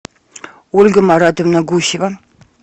ольга маратовна гусева